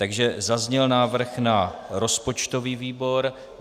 Takže zazněl návrh na rozpočtový výbor.